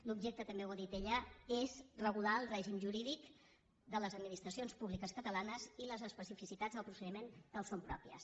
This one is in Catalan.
l’objecte també ho ha dit ella és regular el règim jurídic de les administracions públiques catalanes i les especificitats del procediment que els són pròpies